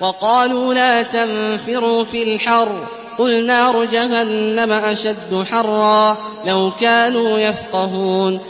وَقَالُوا لَا تَنفِرُوا فِي الْحَرِّ ۗ قُلْ نَارُ جَهَنَّمَ أَشَدُّ حَرًّا ۚ لَّوْ كَانُوا يَفْقَهُونَ